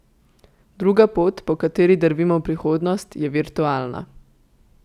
Druga pot, po kateri drvimo v prihodnost, je virtualna.